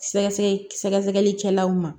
Sɛgɛsɛgɛ sɛgɛsɛgɛli kɛlaw ma